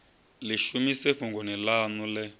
ḽi shumise fhungoni ḽaṋu ḽe